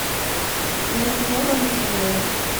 между небом и землей